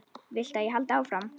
Viltu að ég haldi áfram?